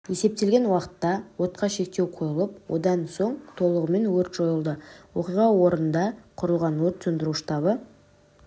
есептелген уақытта отқа шектеу қойылып одан соң толығымен өрт жойылды оқиға орнында құрылған өрт сөндіру штабы